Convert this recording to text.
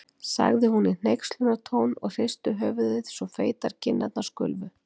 sagði hún í hneykslunartón og hristi höfuðið svo feitar kinnarnar skulfu.